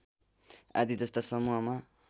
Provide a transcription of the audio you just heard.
आदि जस्ता समूहमा